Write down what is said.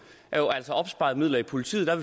altså opsparede midler i politiet og